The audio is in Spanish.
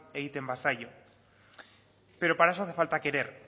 egiten bazaio pero para eso hace falta querer